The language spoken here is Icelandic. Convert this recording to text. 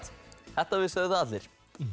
þetta vissu allir